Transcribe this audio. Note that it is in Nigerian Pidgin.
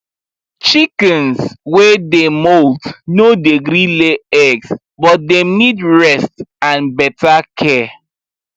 chickens wey dey molt no dey gree lay eggs but dem need rest and better care